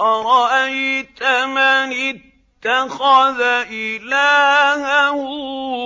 أَرَأَيْتَ مَنِ اتَّخَذَ إِلَٰهَهُ